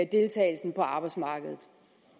deltagelsen på arbejdsmarkedet